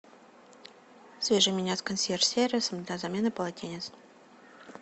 свяжи меня с консьерж сервисом для замены полотенец